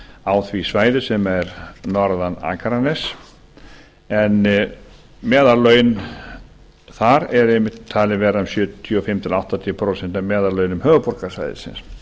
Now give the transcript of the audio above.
á því svæði sem er norðan akraness en meðallaun þar eru einmitt talin vera um sjötíu og fimm til áttatíu prósent af meðallaunum höfuðborgarsvæðisins